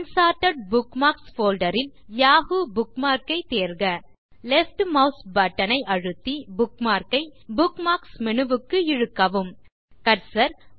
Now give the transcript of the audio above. unsorted bookmarks folder ல் Yahoo bookmark ஐத் தேர்க லெஃப்ட் மாஸ் பட்டன் ஐ அழுத்தி புக்மார்க் ஐBookmarks மேனு க்கு இழுக்கவும் கர்சர்